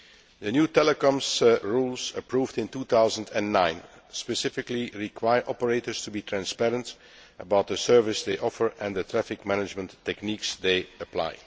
The new telecoms rules approved in 2009 specifically require operators to be transparent about the service they offer and the traffic management techniques they apply.